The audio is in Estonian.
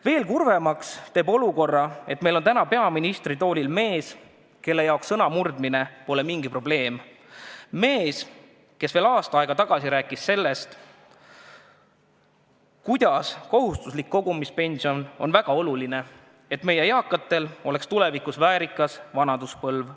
Veel kurvemaks teeb olukorra see, et meil on täna peaministritoolil mees, kelle jaoks sõnamurdmine pole mingi probleem – mees, kes veel aasta tagasi rääkis sellest, kuidas kohustuslik kogumispension on väga oluline, et meie eakatel oleks tulevikus väärikas vanaduspõlv.